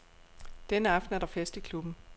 Denne aften er der fest i klubben.